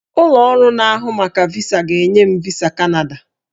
Ụlọ ọrụ na-ahụ maka VISA ga-enye m VISA Kanada